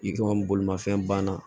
I ka bolimafɛn banna